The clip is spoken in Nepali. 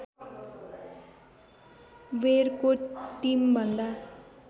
वेयरको टिमभन्दा